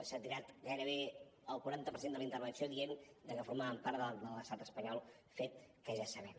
s’ha tirat gairebé el quaranta per cent de la intervenció dient que formàvem part de l’estat espanyol fet que ja sabem